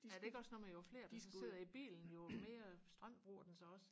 er det ikke også noget med jo flere der så sidder i bilen jo mere strøm bruger den så også